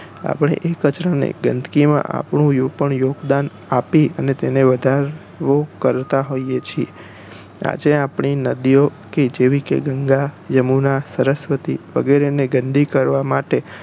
આપણે એ કચરા ને ગંદકી માં આપણું પણ યોગદાન આપી અને તેનો વધારો કરતા હોઈએ છે આજે આપણી નદીઓ જેવી કે ગંગા યમુના સરસ્વતી વગેરે ને ગંદી કરવા માટે